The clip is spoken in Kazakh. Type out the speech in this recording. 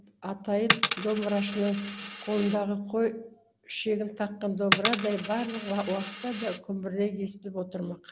атайы домбырашының қолындағы қой ішегін таққан домбырадай барлық уақытта да күмбірлей естіліп отырмақ